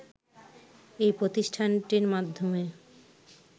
এই প্রতিষ্ঠানটির মাধ্যমে